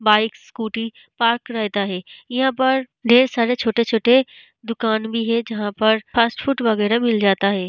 Bike scooty park रहता है यहां पर ढेर सारे छोटे छोटे दुकान भी है जहां पर फास्ट फूड वेगरा मिल जाता है।